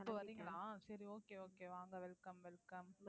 இப்ப வர்றீங்களா சரி okay okay வாங்க welcome welcome